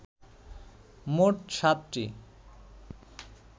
মোট সাতটি